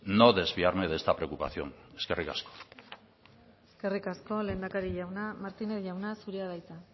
no desviarme de esta preocupación eskerrik asko eskerrik asko lehendakari jauna martínez jauna zurea da hitza